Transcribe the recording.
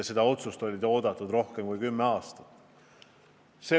Seda otsust oli oodatud rohkem kui kümme aastat.